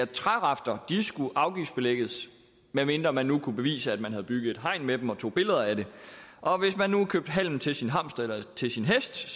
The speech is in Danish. trærafter skulle afgiftsbelægges medmindre man nu kunne bevise at man havde bygget et hegn af dem og tog billeder af det og hvis man nu købte halm til sin hamster eller til sin hest